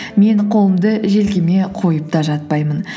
мен қолымды желкеме қойып та жатпаймын